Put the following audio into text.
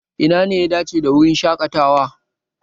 Ina ne ya dace da wurin shaƙatawa?